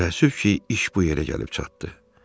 çox təəssüf ki, iş bu yerə gəlib çatdı.